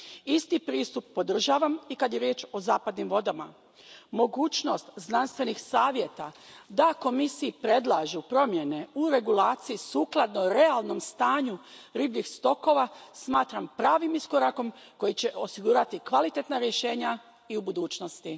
Isti pristup podržavam i kad je riječ o zapadnim vodama. Mogućnost znanstvenih savjeta da Komisiji predlažu promjene u regulaciji sukladno realnom stanju ribljih stokova smatram pravim iskorakom koji će osigurati kvalitetna rješenja i u budućnosti.